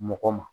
Mɔgɔ ma